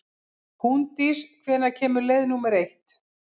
Húndís, hvenær kemur leið númer eitt?